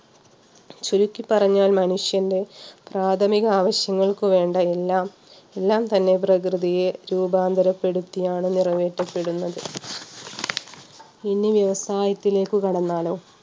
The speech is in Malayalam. ചുരുക്കി പറഞ്ഞാൽ മനുഷ്യന്റെ പ്രാഥമിക ആവശ്യങ്ങൾക്ക് വേണ്ട എല്ലാം എല്ലാം തന്നെ പ്രകൃതിയെ രൂപാന്തരപ്പെടുത്തിയാണ് നിറവേറ്റപ്പെടുന്നത് ഇനി വ്യവസായത്തിലേക്ക് കടന്നാലോ?